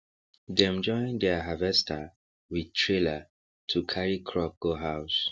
dem join deir harvester with trailer to carry crop go house